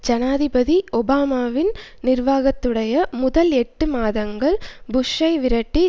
ஜனாதிபதி ஒபாமாவின் நிர்வாகத்துடைய முதல் எட்டு மாதங்கள் புஷ்ஷை விரட்டி